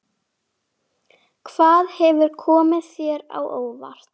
Hvað hefur komið þér á óvart?